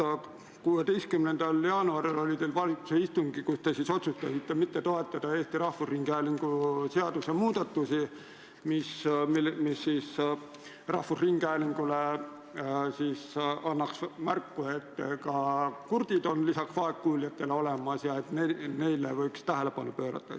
On see, et 16. jaanuaril oli valitsuse istung, kus te otsustasite mitte toetada Eesti Rahvusringhäälingu seaduse muudatusi, mis annaks rahvusringhäälingule märku, et ka kurdid on vaegkuuljate kõrval olemas ja et neile võiks tähelepanu pöörata.